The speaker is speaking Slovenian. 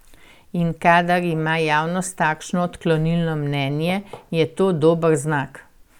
In kadar ima javnost takšno odklonilno mnenje, je to dober znak.